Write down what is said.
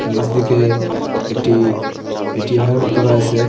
নীচদিকে একটি এ_টি_এম -এর মতো রয়েসে।